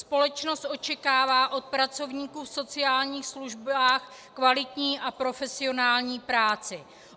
Společnost očekává od pracovníků v sociálních službách kvalitní a profesionální práci.